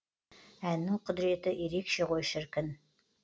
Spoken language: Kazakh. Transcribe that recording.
әннің құдіреті ерекше ғой шіркін